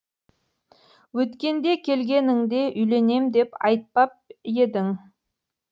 өткенде келгеніңде үйленем деп айтпап едің